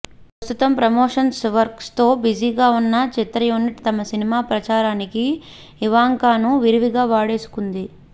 ప్రస్తుతం ప్రమోషన్స్ వర్క్స్తో బిజీగా ఉన్న చిత్రయూనిట్ తమ సినిమా ప్రచారానికి ఇవాంకాను విరివిగా వాడేసుకుంది